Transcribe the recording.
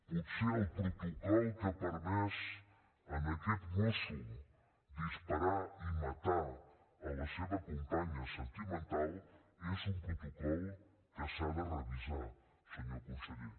potser el protocol que ha permès a aquest mosso disparar i matar la seva companya sentimental és un protocol que s’ha de revisar senyor conseller